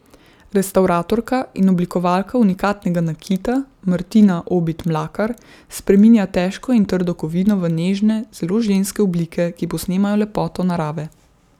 Restavratorka in oblikovalka unikatnega nakita Martina Obid Mlakar spreminja težko in trdo kovino v nežne, zelo ženske oblike, ki posnemajo lepoto narave.